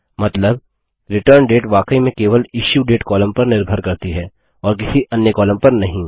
मतलब रिटर्नडेट वाकई में केवल इश्यूडेट कॉलम पर निर्भर करती है और किसी अन्य कॉलम पर नहीं